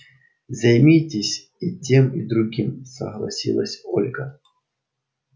займитесь и тем и другим согласилась ольга